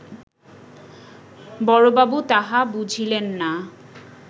বড়বাবু তাহা বুঝিলেন না